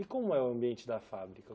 E como é o ambiente da fábrica?